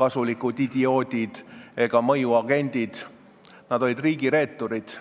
kasulikud idioodid ega mõjuagendid, vaid nad olid riigireeturid.